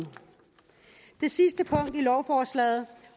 det sidste punkt i lovforslaget